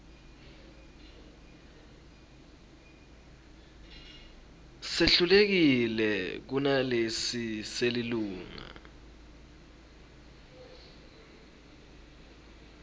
sehlukile kunalesi selilunga